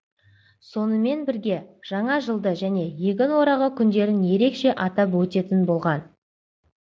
сонымен бірге жаңа жылды және егін орағы күндерін ерекше атап өтетін болған